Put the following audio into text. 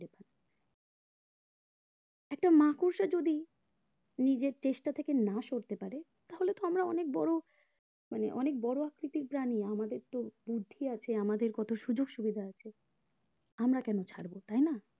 একটা মাকড়সা যদি নিজের চেষ্টা থেকে না সরতে পারে তাহলে তো আমরা অনেক বড়ো মানে অনেক বড়ো আকৃতির প্রাণী আমাদের তো বুদ্ধি আছে আমাদের কত সুযোক সুবিধা আছে আমরা কেন ছাড়বো তাই না